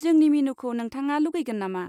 जोंनि मेनुखौ नोंथाङा लुगैगोन नामा?